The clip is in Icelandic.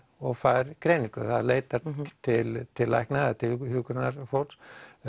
og fær greiningu það leitar til til lækna eða hjúkrunarfólks